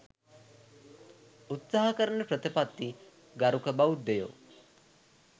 උත්සාහ කරන ප්‍රතිපත්ති ගරුක බෞද්ධයෝ